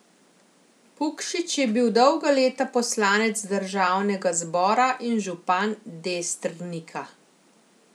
Pukšič je bil dolga leta poslanec državnega zbora in župan Destrnika.